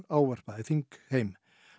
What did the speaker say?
ávarpaði þingheim